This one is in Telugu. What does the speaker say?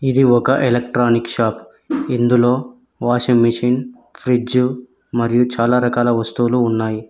ఇది ఒక ఎలక్ట్రానిక్ షాప్ ఇందులో వాషింగ్ మిషిన్ ఫ్రిజ్జు మరియూ చాలా రకాల వస్తువులు ఉన్నాయి.